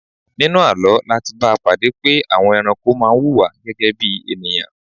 Nínú àlọ́ láti bá pàdé pé àwọn ẹranko má wuwà gẹ́gẹ́ bí ènìyàn